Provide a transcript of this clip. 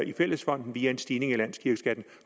i fællesfonden via en stigning af landskirkeskatten